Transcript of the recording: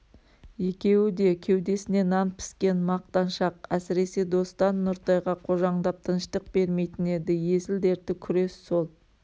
екеуі де кеудесіне нан піскен мақтаншақ әсіресе достан нұртайға қожаңдап тыныштық бермейтін еді есіл-дерті күрес сол